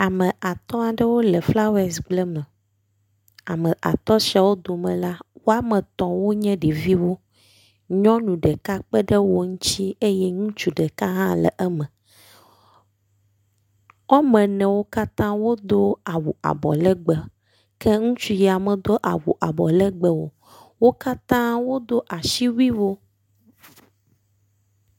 Ame atɔ ɖewo le flawas gbleme. Ame atɔ siawo dome la wame etɔ̃ wo nye ɖeviwo. Nyɔnu ɖeka kpe ɖe wo ŋtsi eye ŋutsu ɖeka hã le eme. Wɔme enewo katã wodo awu abɔlegbe ke ŋutsu ya medo awu abɔlegbe o. Wo katã wodo asiwuiwo.